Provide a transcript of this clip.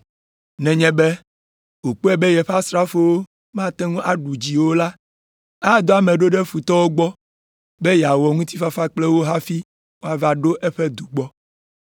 Nenye be wòkpɔe be yeƒe asrafowo mate ŋu aɖu dzi o la, adɔ ame ɖo ɖe futɔwo gbɔ be yeawɔ ŋutifafa kple wo hafi woava ɖo eƒe du gbɔ.